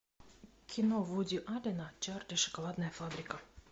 кино вуди аллена чарли и шоколадная фабрика